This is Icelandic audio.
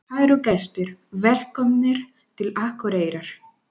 Kæru gestir! Velkomnir til Akureyrar.